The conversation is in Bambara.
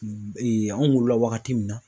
anw wolola wagati min na